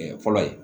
fɔlɔ ye